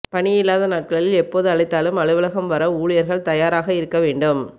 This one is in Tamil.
பணியில்லாத நாட்களில் எப்போது அழைத்தாலும் அலுவலகம் வர ஊழியர்கள் தயாராக இருக்க வேண்டும்